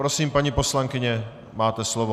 Prosím, paní poslankyně, máte slovo.